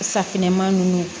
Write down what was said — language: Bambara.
Safinɛ ma ninnu